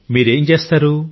మీరు ఏం చేస్తారు